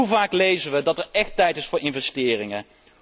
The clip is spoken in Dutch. Hoe vaak lezen wij dat het echt tijd is voor investeringen?